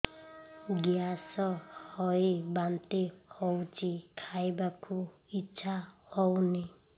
gas ହୋଇ ବାନ୍ତି ହଉଛି ଖାଇବାକୁ ଇଚ୍ଛା ହଉନି